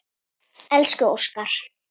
Elsku Óskar.